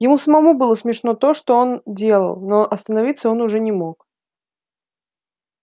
ему самому было смешно то что он делал но остановиться он уже не мог